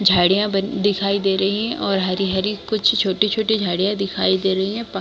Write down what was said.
झाड़िया बन दिखाई दे रही है और हरी हरी कुछ छोटी छोटी झाड़िया दिखाई दे रही है प--